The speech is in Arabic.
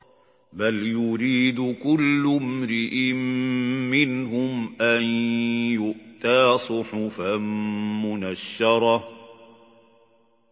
بَلْ يُرِيدُ كُلُّ امْرِئٍ مِّنْهُمْ أَن يُؤْتَىٰ صُحُفًا مُّنَشَّرَةً